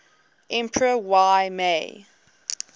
emperor y mei